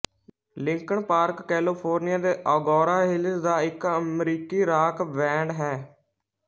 Linkin Park California ਦੇ Agoura Hills ਦਾ ਇੱਕ ਅਮਰੀਕੀ ਰਾਕ ਬੈਂਡ ਹੈ